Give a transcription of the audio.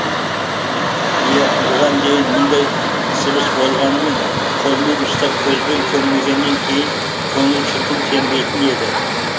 иә бұған дейін мұндай сыбыс болғанымен қолмен ұстап көзбен көрмегеннен кейін көңіл шіркін сенбейтін еді